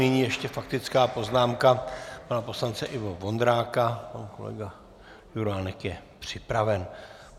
Nyní ještě faktická poznámka pana poslance Ivo Vondráka, pan kolega Juránek je připraven.